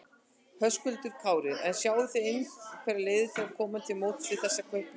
Höskuldur Kári: En sjáið þið einhverjar leiðir til að koma til móts við þessa kaupmenn?